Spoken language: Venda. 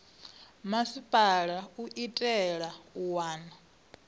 masipala u itela u wana